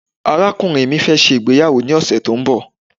arakunrin mi fe se ìgbéyàwó ni ọsẹ ti o nbọ